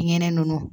Nɛnɛ nunnu